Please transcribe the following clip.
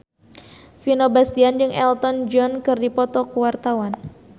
Vino Bastian jeung Elton John keur dipoto ku wartawan